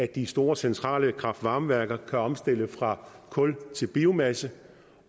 de store centrale kraft varme værker kan omstille fra kul til biomasse